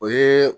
O ye